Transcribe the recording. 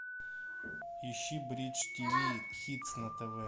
ищи бридж тв хитс на тв